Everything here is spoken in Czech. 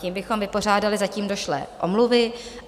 Tím bychom vypořádali zatím došlé omluvy.